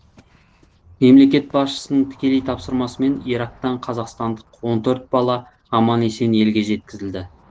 мемлекет басшысының тікелей тапсырмасымен ирактан қазақстандық он төрт бала аман есен елге жеткізілді